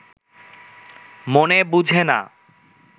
মনে বুঝে না